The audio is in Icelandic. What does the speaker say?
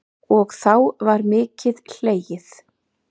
Og þá var mikið hlegið.